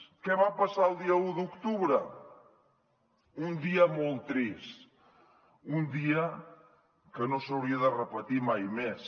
què va passar el dia u d’octubre un dia molt trist un dia que no s’hauria de repetir mai més